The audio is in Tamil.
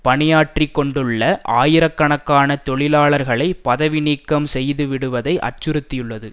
பணியாற்றிக்கொண்டுள்ள ஆயிரக்கணக்கான தொழிலாளர்களை பதவி நீக்கம் செய்துவிடுவதை அச்சுறுத்தியுள்ளது